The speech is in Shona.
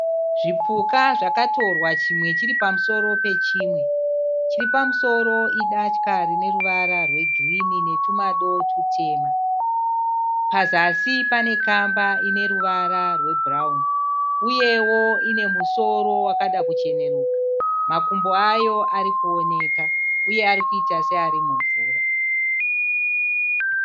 Zvipuka zvakatorwa chimwe chiripamusoro pechimwe. Chiripamusoro idatya rineruvara rwegirinhi netumado tutema. Pazasi panekamba ineruvara rwebhurawuni uyewo inemusoro wakada kucheneruka. Makumbo ayo arikuoneka uye arikuita searimumvura.